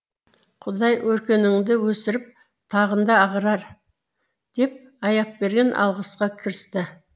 құдай өркеніңді өсіріп тағында ағарар деп аяпберген алғысқа кірісті